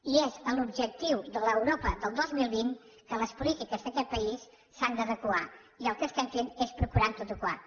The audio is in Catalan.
i és amb l’objectiu de l’europa del dos mil vint que les polítiques d’aquest país s’han d’adequar i el que estem fent és procurar adequar les